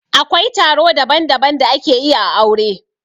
Akwai taro daban-daban da ake yi ã aure.